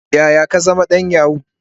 Yaya ka zama dan yahoo?